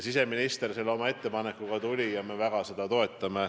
Siseminister tegi selle ettepaneku ja me seda väga toetame.